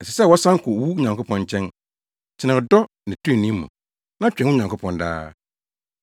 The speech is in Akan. Ɛsɛ sɛ wosan kɔ wo Nyankopɔn nkyɛn. Tena ɔdɔ ne trenee mu, na twɛn wo Nyankopɔn daa.